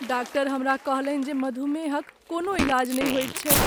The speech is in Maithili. डाक्टर हमरा कहलनि जे मधुमेहक कोनो इलाज नहि होइत छैक।